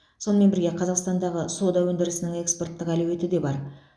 сонымен бірге қазақстандағы сода өндірісінің экспорттық әлеуеті де бар